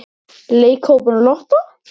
Leikhópurinn Lotta?